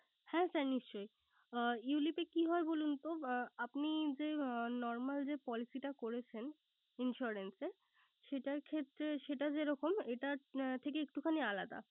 হ্যাঁ sir নিশ্চই Ulip এ কি হয় বলুন তো? আপনি যে normal যে policy টা করেছেন insurance এর সেটার ক্ষেত্রে সেটা যেরকম এটা থেকে একটু খানি আলাদা